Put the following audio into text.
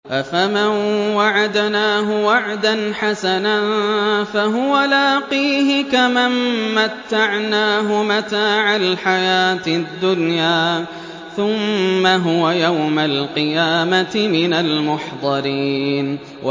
أَفَمَن وَعَدْنَاهُ وَعْدًا حَسَنًا فَهُوَ لَاقِيهِ كَمَن مَّتَّعْنَاهُ مَتَاعَ الْحَيَاةِ الدُّنْيَا ثُمَّ هُوَ يَوْمَ الْقِيَامَةِ مِنَ الْمُحْضَرِينَ